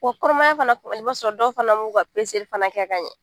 Ko kɔnɔmaya fana i b'a sɔrɔ dɔw fana m'u ka fana kɛ ka ɲɛ